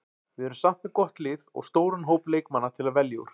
Við erum samt með gott lið og stóran hóp leikmanna til að velja úr.